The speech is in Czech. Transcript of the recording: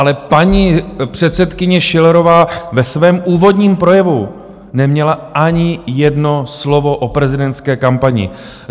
Ale paní předsedkyně Schillerová ve svém úvodním projevu neměla ani jedno slovo o prezidentské kampani.